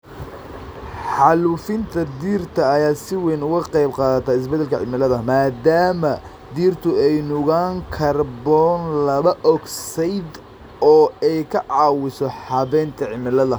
Xaalufinta dhirta ayaa si weyn uga qayb qaadata isbeddelka cimilada, maadaama dhirtu ay nuugaan kaarboon laba ogsaydh oo ay ka caawiso habaynta cimilada.